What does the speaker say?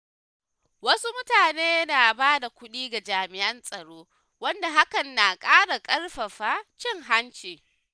Wasu mutane na bada kuɗi ga jami'an tsaro, wanda hakan na ƙara ƙarfafa cin hanci.